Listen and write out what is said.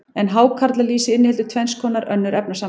en hákarlalýsið inniheldur tvenns konar önnur efnasambönd